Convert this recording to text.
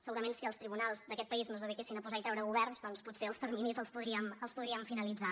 segurament si els tribunals d’aquest país no es dediquessin a posar i treure governs doncs potser els terminis els podríem finalitzar